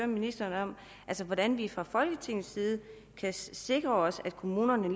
ministeren om hvordan vi fra folketingets side kan sikre os at kommunerne